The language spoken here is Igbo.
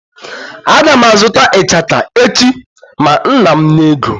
Aga m a zụta ichaka echi ma nna m nye ego.